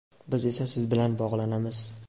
Biz esa siz bilan bog‘lanamiz!.